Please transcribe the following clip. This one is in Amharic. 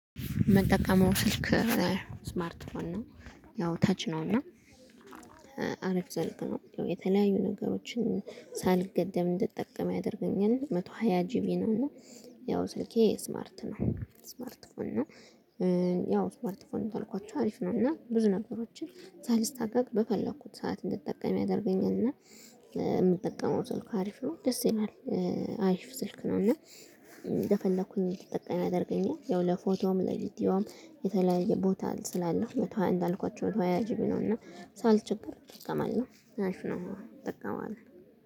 መጠቀም ስልክ ስማርት ነው እና ያው ተች ነው እና አረፍ ዘለቅ ነው። የተለያዩ ነገሮችን ሳልገደብ እንድትጠቀም ያደርገኛል መቶ ሃያ ጂቢ ነው። እና ያው ስልኬ ስማርት ነው ስማርት ስማርት ነው። ያው ስማርት ስማርት ነው ተልኳቸው አሪፍ ነውና ብዙ ነገሮችን ሳልስታገግ በፈለኩት ሰዓት እንድትጠቀም ያደርገኛልና። የምትጠቀመው ሰልኩ አሪፍ ነው ደስ ይላል። አሪፍ ስልክ ነው። እና እንደፈለኩኝ ተጠቅሜ አድርገኝ ያው ለፎቶም ለቪዲዮም የተለያየ ቦታ ስላለው መቶ ሃያ እንዳልኳችሁ መቶ ሃያ ጅቢ ነውና። ሳልቸግር እጠቀማለሁ አልፏል እጠቀማለው